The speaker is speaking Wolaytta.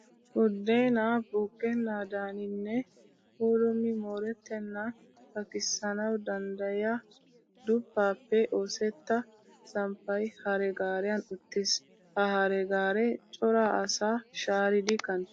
Buddeenaa buuqqennaadani nne puulummi moorettennan takkissanawu danddayiya duppaappe oosetta samppay hare gaariyan uttiis. Ha hare gaaree cora asaa shaaridi kanttees.